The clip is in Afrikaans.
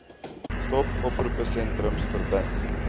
stop oproepsentrums verbind